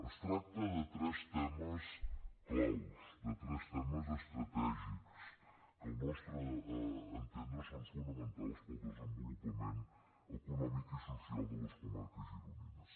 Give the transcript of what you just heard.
es tracta de tres temes clau de tres temes estratègics que al nostre entendre són fonamentals per al desenvolupament econòmic i social de les comarques gironines